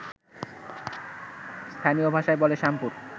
স্থানীয় ভাষায় বলে শামপুর